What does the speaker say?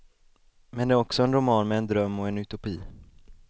Men det är också en roman med en dröm och en utopi.